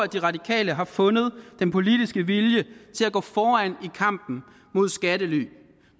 de radikale har fundet den politiske vilje til at gå foran i kampen mod skattely